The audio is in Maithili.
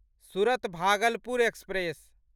सुरत भागलपुर एक्सप्रेस